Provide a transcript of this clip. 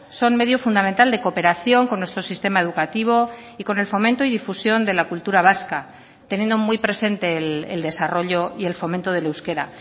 son medio fundamental de cooperación con nuestro sistema educativo y con el fomento y difusión de la cultura vasca teniendo muy presente el desarrollo y el fomento del euskera